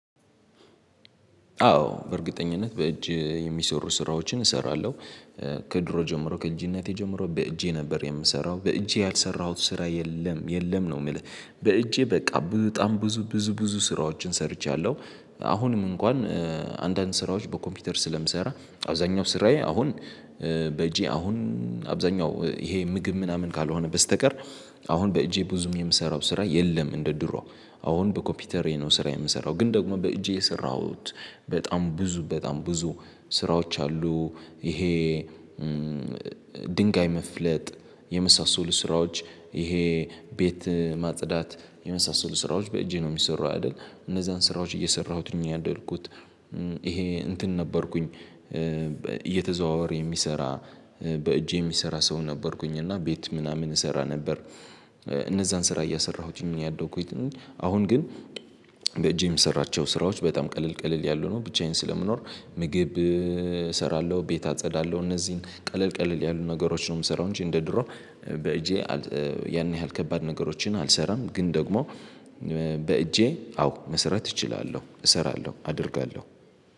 አዎ በእርግጠኝነት በእጅ የሚሰሩ ስራዎችን እሰራለሁ። ከድሮ ጀምሮ ከእጅነቴ ጀምሮ በእጄ ነበር የምሰራው በእጄ ያልሰራሁት ስራ የለም የለም ነው የሚል በእጄ በቃ በጣም ብዙ ብዙ ብዙ ስራዎችን ሰርቻለሁ። አሁንም እንኳን አንዳንድ ስራዎች በኮምፒውተር ስለምሰራ አብዛኛው ስራዬ አሁን በጄ አሁን አብዛኛው ይሄ ምግብ ምናምን ካልሆነ በስተቀር። አሁን በእጄ ብዙም የምሰራው ስራ የለም እንደ ድሮ አሁን በኮፒውተር የሆነው ስራ የምሰራው ግን ደግሞ በእጄ የሰራሁት በጣም ብዙ በጣም ብዙ ስራዎች አሉ። ይሄ ድንጋይ መፍለጥ የመሳሰሉ ስራዎች ይሄ ቤት ማጽዳት የመሳሰሉ ስራዎች በእጄ ነው የሚሰሩ አይደል እነዛን ስራዎች እየሰራሁትኝ ያደልኩት። ይሄ እንትን ነበርኩኝ እየተዘዋወረ የሚሰራ በእጄ የሚሰራ ሰው ነበርኩኝ እና ቤት ምናምን እሰራ ነበር። እነዛን ስራ እያሰራሁትኝ እኛ ያለው አሁን ግን በጄም የሰራቸው ስራዎች በጣም ቀለል ቀለል ያሉ ነው። ብቻዬን ስለምኖር ምግብ እሰራለሁ ቤት አጸዳለሁ እነዚህን ቀለል ቀለል ያሉትን ነገሮችን ነው የምሰራው እንጂ እንደ ድሮ በእጄ ያን ያህል ከባድ ነገሮችን አልሰራም። ግን ደግሞ በእጄ አዎ መሰራት እችላለሁ እሰራለሁ አደርጋለሁ